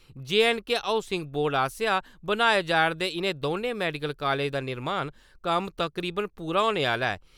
J and K housing board आसेआ बनाए जा'रदे इ'नें दौनें मैडिकल कालेजें दा निर्माण कम्म तकरीबन पूरा होने आह्ला ऐ।